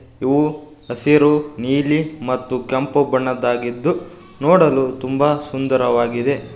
ಇವು ಹಸಿರು ನೀಲಿ ಮತ್ತು ಕೆಂಪು ಬಣ್ಣದ್ದಾಗಿದ್ದು ನೋಡಲು ತುಂಬಾ ಸುಂದರವಾಗಿದೆ.